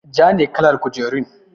Ja ne kalar kujerun.